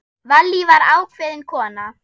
Vallý var ákveðin kona.